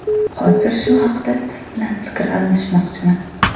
Hozir shu haqda siz bilan fikr almashmoqchiman.